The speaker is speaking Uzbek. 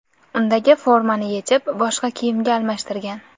Undagi formani yechib, boshqa kiyimga almashtirgan.